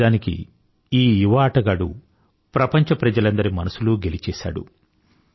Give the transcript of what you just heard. నిజానికి ఈ యువ ఆటగాడు ప్రపంచ ప్రజలందరి మనసులూ గెలిచేసాడు